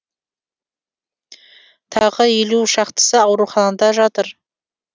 тағы елу шақтысы ауруханада жатыр